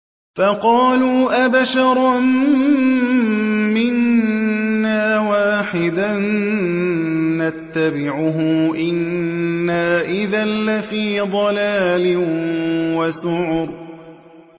فَقَالُوا أَبَشَرًا مِّنَّا وَاحِدًا نَّتَّبِعُهُ إِنَّا إِذًا لَّفِي ضَلَالٍ وَسُعُرٍ